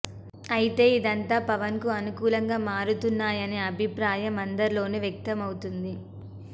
అయితే ఇదంతా పవన్ కు అనుకూలంగా మారుతున్నాయనే అభిప్రాయం అందరిలోనూ వ్యక్తం అవుతోంది